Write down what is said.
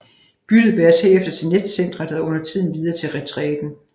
Byttet bæres herefter til netcentret og undertiden videre til retræten